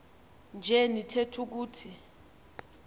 nje nitheth ukuthi